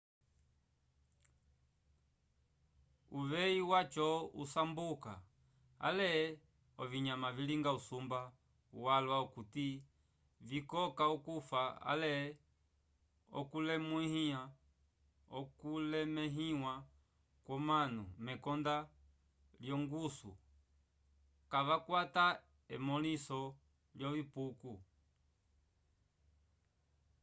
uveyi waco usamboka ale ovinyama vilinga usumba walwa okuti vikoka okufa ale okulemẽhiwa kwomanu mekonda lyongusu kavakwata emõliso lyovipuko